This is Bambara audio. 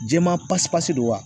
Jɛman pasipasi don wa